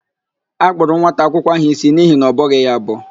A kpụrụ nwata akwụkwọ áhụ̀ ísí n'ihi na ọ bọghị ya abọ.